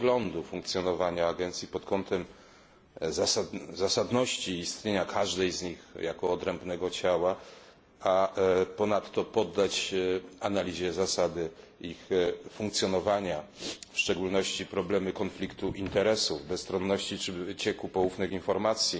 przeglądu funkcjonowania agencji pod kątem zasadności istnienia każdej z nich jako odrębnego ciała, a ponadto poddać analizie zasady ich funkcjonowania, w szczególności problemy konfliktu interesów, bezstronności czy wycieku poufnych informacji.